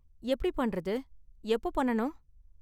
எப்படி பண்றது? எப்போ பண்ணனும்?